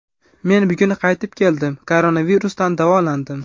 Men bugun qaytib keldim, koronavirusdan davolandim.